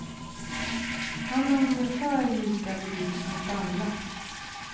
Han är ungefär lika burdus mot alla.